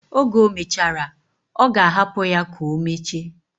Oge omechara, oga hapu ya ka omeche.